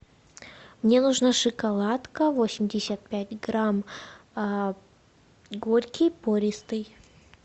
мне нужна шоколадка восемьдесят пять грамм горький пористый